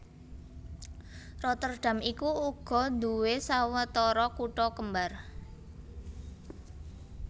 Rotterdam iku uga nduwé sawetara kutha kembar